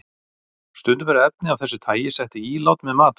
Stundum eru efni af þessu tagi sett í ílát með matvælum.